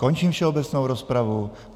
Končím všeobecnou rozpravu.